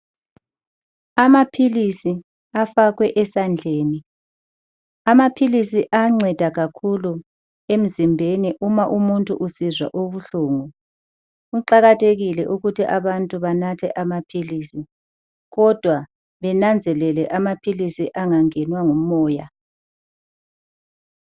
Amaphilisi afakwe esandleni, amaphilisi ayanceda kakhulu emzimbeni ,uma umuntu usizwa ubuhlungu. Kuqakathekile ukuthi abantu banathe amaphilisi kodwa benanzelele amaphilisi engangenwa ngumoya.